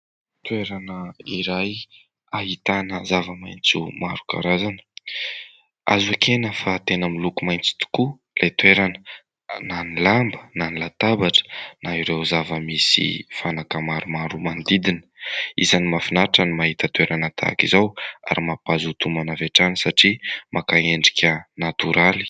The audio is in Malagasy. Toerana iray ahitana zava-maitso maro karazana. Azo ekena fa tena miloko maitso tokoa ilay toerana, na ny lamba, na ny latabatra, na ireo zava-misy fanaka maromaro manodidina. Isany mahafinaritra ny mahita toerana tahaka izao ary mampahazoto homana avy hatrany satria maka endrika natoraly.